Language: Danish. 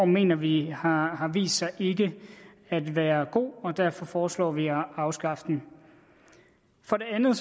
mener vi har vist sig ikke at være god og derfor foreslår vi at afskaffe den for det andet